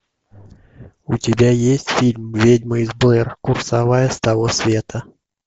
у тебя есть фильм ведьма из блэр курсовая с того света